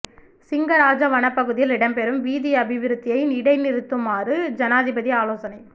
சிங்கராஜ வனப் பகுதியில் இடம்பெறும் வீதி அபிவிருத்தியை இடைநிறுத்துமாறு ஜனாதிபதி ஆலோசனை